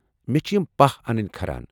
مےٚ چھِ یِم پاہ انٕنۍ کھران ۔